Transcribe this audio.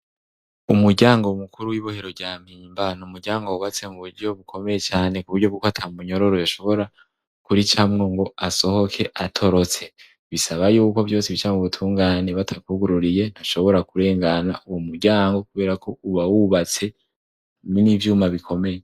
Umuryango mukuru w'ibohero rya mpimba ni umuryango wubatse mu buryo bukomeye cane. Ku buryo bw'uko ata munyororo ashobora kuricamwo ngo asohoke atorotse. Bisaba y'uko vyose bica mu butungane, batakwugururiye ntushobora kurengana uwo muryango kubera ko uba wubatse n'ivyuma bikomeye.